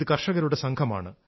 ഇത് കർഷകരുടെ സംഘമാണ്